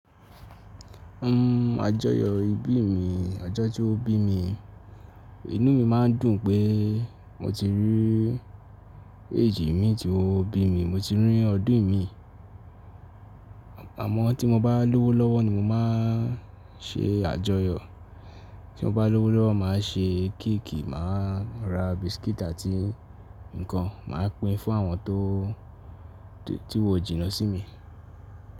Uhm àjọyọ̀ ìbí mi, ọjọ́ tí ó bí mi inú mi má ń dùn pé mo ti rí èjì mi tí ó bí mi, mo ti rí ọdún mi. Àmọ́ tí mo bá lówó lọ́wọ́ ni mo má ń ṣe àjọyọ̀. Tí mo bá lówó lọ́wọ́ màá ṣe kéèkì, màá ra biscuit àti ǹkan, màá pín fún àwọn tó ti wò jìnnà sí mi.